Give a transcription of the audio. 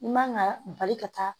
I man ka bali ka taa